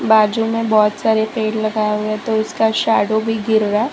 बाजू में बहोत सारे पेड़ लगाए हुए है तो उसका शैडो भी गिर रहा--